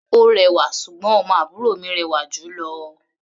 Ó rẹwà, ṣùgbọ́n ọmọ àbúrò mi rẹwà jù ú lọ.